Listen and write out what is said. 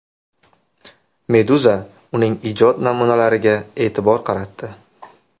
Meduza uning ijod namunalariga e’tibor qaratdi .